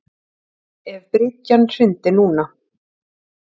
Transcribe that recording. Ef bryggjan hryndi núna.